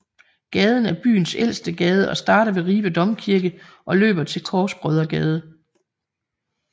Gaden er byens ældste gade og starter ved Ribe Domkirke og løber til Korsbrødregade